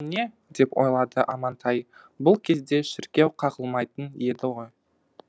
бұл не деп ойлады амантай бұл кезде шіркеу қағылмайтын еді ғой